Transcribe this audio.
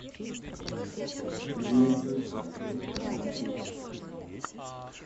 ювентус атлетико мадрид